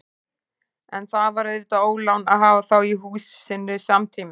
En það var auðvitað ólán að hafa þá í húsinu samtímis.